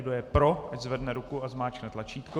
Kdo je pro, ať zvedne ruku a zmáčkne tlačítko.